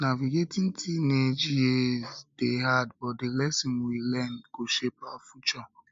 navigating teenage years dey hard but di lessons we learn go shape our future